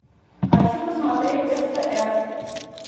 хочу посмотреть стс